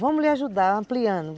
Vamos lhe ajudar ampliando.